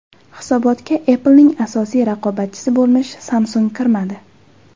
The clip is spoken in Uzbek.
Hisobotga Apple’ning asosiy raqobatchisi bo‘lmish Samsung kirmadi.